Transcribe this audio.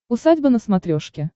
усадьба на смотрешке